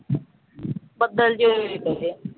ਬੱਦਲ ਜਿਹੇ ਹੋਏ ਪਏ।